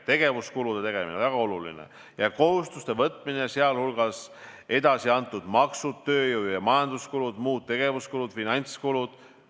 Tegevuskulude tegemine – väga oluline – ja kohustuste võtmine, sh edasiantud maksud, tööjõu- ja majanduskulud, muud tegevuskulud, finantskulud.